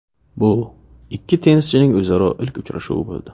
Bu ikki tennischining o‘zaro ilk uchrashuvi bo‘ldi.